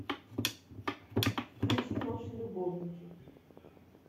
включи наши любовники